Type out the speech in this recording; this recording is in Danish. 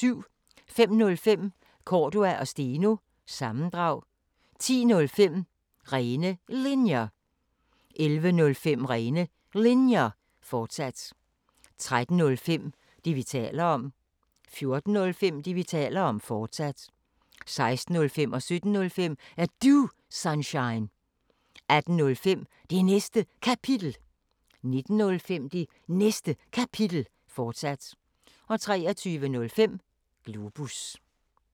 05:05: Cordua & Steno – sammendrag 10:05: Rene Linjer 11:05: Rene Linjer, fortsat 13:05: Det, vi taler om 14:05: Det, vi taler om, fortsat 16:05: Er Du Sunshine? 17:05: Er Du Sunshine? 18:05: Det Næste Kapitel 19:05: Det Næste Kapitel, fortsat 23:05: Globus